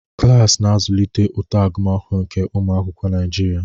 Klas na-azụlite uto agụmakwụkwọ nke ụmụ akwụkwọ Naijiria.